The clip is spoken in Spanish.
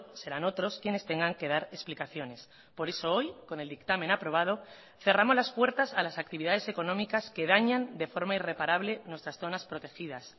serán otros quienes tengan que dar explicaciones por eso hoy con el dictamen aprobado cerramos las puertas a las actividades económicas que dañan de forma irreparable nuestras zonas protegidas